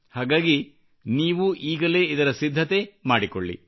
ಹಾಗಾಗಿ ನೀವೂ ಈಗಲೇ ಇದರ ಸಿದ್ಧತೆ ಮಾಡಿಕೊಳ್ಳಿ